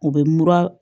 U bɛ mura